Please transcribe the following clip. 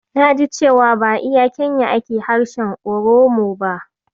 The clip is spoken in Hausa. Naji cewa ba a iya Kenya ake harshen Oromo ba.